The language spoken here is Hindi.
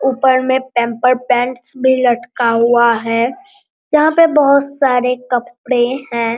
ऊपर में पैंपर्स पैंट्स भी लटका हुआ है यहाँ पर बहुत सारे कपड़े हैं।